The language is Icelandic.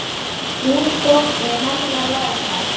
Þín dóttir, Hanna Lára.